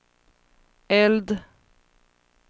eld